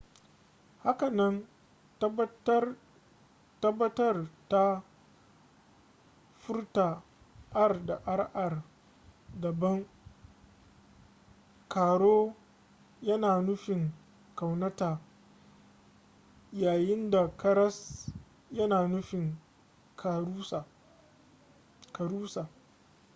hakanan tabbatar da furta r da rr daban caro yana nufin ƙaunata yayin da karas yana nufin karusa